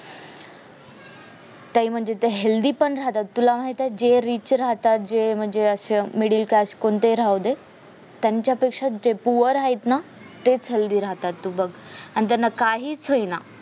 ते म्हणजे ते healthy पण राहतात तुला माहित आहे जे rich राहतात जे म्हणजे असं Middle Class कोणतेही राहुदे त्यांच्या पेक्ष्या जे poor आहेत ना तेच healthy राहतात तू बग आणि त्यांना काहीच होईना